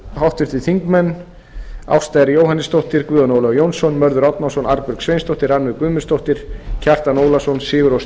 háttvirtir þingmenn ásta r jóhannesdóttir guðjón ólafur jónsson mörður árnason arnbjörg sveinsdóttir rannveig guðmundsdóttir kjartan ólafsson sigurrós